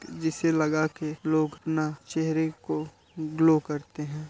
जिसे लगा के लोग न चेहरे को ग्लो करते है।